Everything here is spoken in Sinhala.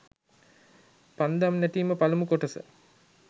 පන්දම් නැටීම පළමු කොටස